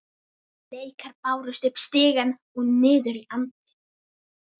Leikar bárust upp stigana og niður í anddyri.